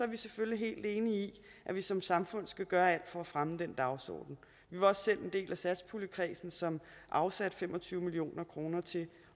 vi selvfølgelig helt enige i at vi som samfund skal gøre alt for at fremme den dagsorden vi var også selv en del af satspuljekredsen som afsatte fem og tyve million kroner til